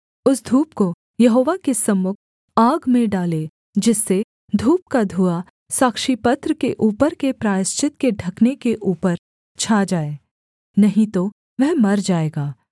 उस धूप को यहोवा के सम्मुख आग में डाले जिससे धूप का धुआँ साक्षीपत्र के ऊपर के प्रायश्चित के ढकने के ऊपर छा जाए नहीं तो वह मर जाएगा